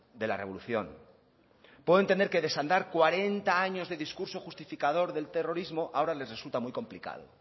de la revolución puedo entender que desandar cuarenta años de discurso justificador del terrorismo ahora les resulta muy complicado